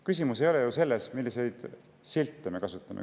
Küsimus ei ole ju selles, milliseid silte me kasutame.